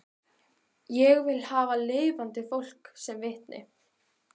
Ég vil hafa lifandi fólk sem vitni